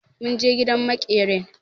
Mun je gidan maƙerin.